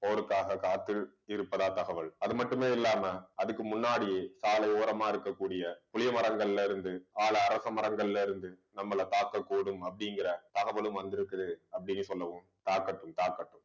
போருக்காக காத்து இருப்பதா தகவல் அது மட்டுமே இல்லாம அதுக்கு முன்னாடியே சாலை ஓரமா இருக்கக்கூடிய புளிய மரங்கள்ல இருந்து ஆல அரச மரங்கள்ல இருந்து நம்மளை காக்கக்கூடும் அப்படிங்கற தகவலும் வந்திருக்குது அப்படின்னு சொல்லுவோம். தாக்கட்டும் தாக்கட்டும்